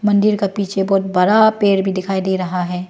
मंदिर का पीछे बहुत बरा पेर भी दिखाई दे रहा है।